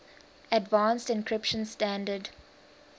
advanced encryption standard